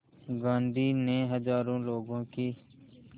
गांधी ने हज़ारों लोगों की